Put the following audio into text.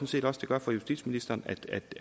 set også det gør for justitsministeren